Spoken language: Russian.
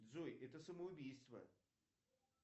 джой это самоубийство